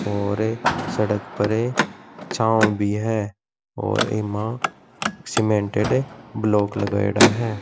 और सड़क पर छाओ भी है और एमा सीमेंटेड ब्लॉक् भी लगायडा है।